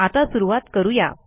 आता सुरूवात करू या